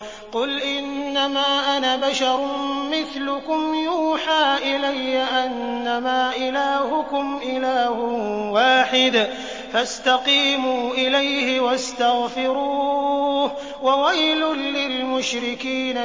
قُلْ إِنَّمَا أَنَا بَشَرٌ مِّثْلُكُمْ يُوحَىٰ إِلَيَّ أَنَّمَا إِلَٰهُكُمْ إِلَٰهٌ وَاحِدٌ فَاسْتَقِيمُوا إِلَيْهِ وَاسْتَغْفِرُوهُ ۗ وَوَيْلٌ لِّلْمُشْرِكِينَ